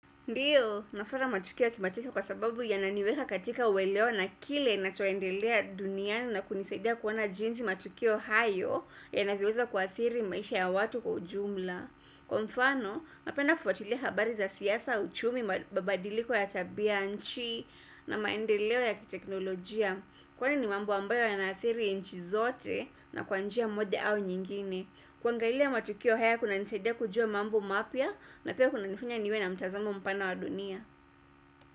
Ndio, nafuata matukio ya kimataifa kwa sababu yananiweka katika uweleo na kile inachoendelea duniani na kunisaidia kuona jinsi matukio hayo yanavyoweza kuathiri maisha ya watu kwa ujumla. Kwa mfano, napenda kufuatilia habari za siasa, uchumi, mabadiliko ya tabia, nchi, na maendeleo ya kiteknolojia. Kwani ni mambo ambayo yanaathiri inchi zote na kwa njia moja au nyingine. Kuangailia matukio haya kunanisaidia kujua mambo mapya na pia kunanifanya niwe na mtazamo mpana wa dunia.